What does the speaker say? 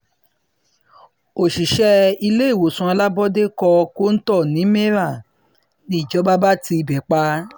òṣìṣẹ́ iléewòsàn alábọ́ọ́dẹ́ kọ́ kóńtó ní meiran níjọba bá ti ibẹ̀ um pa